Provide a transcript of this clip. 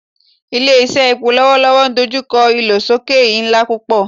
Ile-iṣẹ epo lọwọlọwọ n dojukọ ilosoke nla pupọ